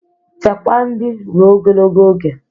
Chekwaa nri ruo ogologo oge